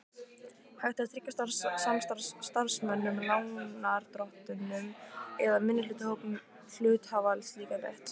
hægt að tryggja starfsmönnum, lánardrottnum eða minnihlutahópum hluthafa slíkan rétt.